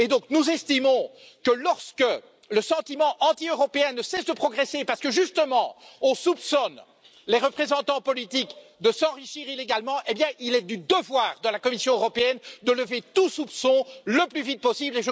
Nous estimons que, lorsque le sentiment anti européen ne cesse de progresser, justement parce qu'on soupçonne les représentants politiques de s'enrichir illégalement, il est du devoir de la Commission européenne de lever tout soupçon le plus vite possible.